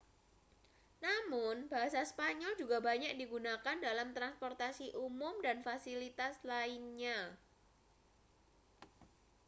namun bahasa spanyol juga banyak digunakan dalam transportasi umum dan fasilitas lainnya